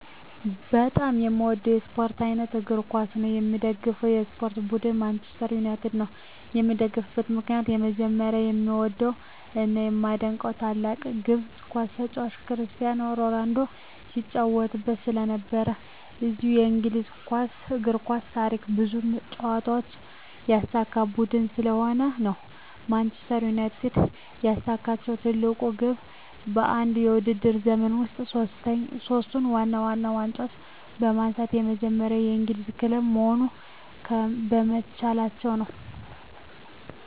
በጣም የምዎደው የስፖርት አይነት እግር ኳስ ነው። የምደግፈው የስፖርት ቡድን ማንችስተር ዩናይትድ ነው። የምደግፍበት ምክንያት በመጀመሪያ የምዎደው እና የማደንቀው ታላቁ የግር ኳስ ተጫዋች ክርስቲያኖ ሮናልዶ ሲጫዎትበት ስለነበር። እንዲሁም በእንግሊዝ የእግር ኳስ ታሪክ ብዙ ዋንጫዎችን ያሳካ ቡድን ስለሆነ ነው። ማንችስተር ዩናይትድ ያሳካችው ትልቁ ግብ በአንድ የውድድር ዘመን ውስጥ ሶስቱን ዋና ዋና ዋንጫዎች በማንሳት የመጀመሪያው የእንግሊዝ ክለብ መሆን በመቻላቸው ነው።